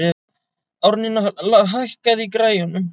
Árnína, hækkaðu í græjunum.